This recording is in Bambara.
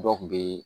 Dɔw kun be